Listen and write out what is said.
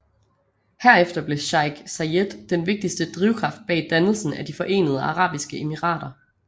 Herefter blev Sheik Zayed den vigtigste drivkraft bag dannelsen af De Forenede Arabiske Emirater